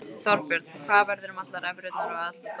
Þorbjörn: Og hvað verður um allar evrurnar og alla dollarana?